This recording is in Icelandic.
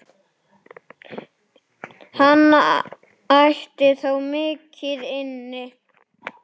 Hann ætti þó mikið inni.